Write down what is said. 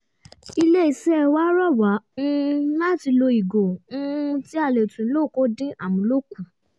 ilé-iṣẹ́ wa rọ wá um láti lo ìgò um tí a lè tún lò kó dín amúlò kù